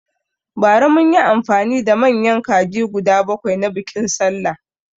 Bara munyi amfani da manyan kaji guda bakwai na biƙin sallah